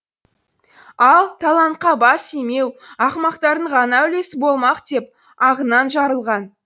ал талантқа бас имеу ақымақтардың ғана үлесі болмақ деп ағынан жарылған